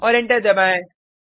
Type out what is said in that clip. और एंटर दबाएँ